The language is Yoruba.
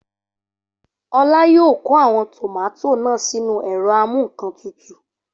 Olá yóò kó àwọn tòmátò náà sínú ẹ̀rọ amúǹkantutù